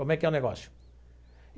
Como é que é o negócio?